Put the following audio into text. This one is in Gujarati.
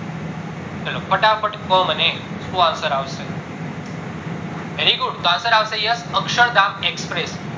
ફટાફટ કો મને શું answer આવશે very good answer આવશે અક્ષરધામ express